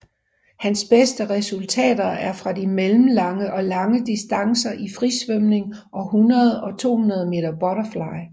Hans beste resultater er fra de mellemlange og lange distancer i frisvømning og 100 og 200 meter butterfly